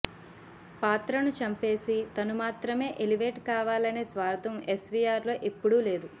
పాత్రను చంపేసి తను మాత్రమే ఎలివేట్ కావాలనే స్వార్థం ఎస్వీఆర్ లో ఎప్పుడూ లేదు